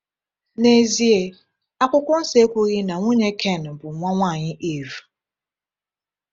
N’ezie, Akwụkwọ Nsọ ekwughị na nwunye Ken bụ nwa nwanyị Iv.